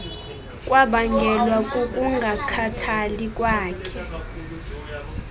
kwabangelwa kukungakhathali kwakhe